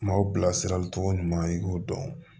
Maaw bilasirali cogo ɲuman i k'u dɔn